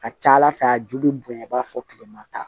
Ka ca ala fɛ a ju bɛ bonya i b'a fɔ kilema ta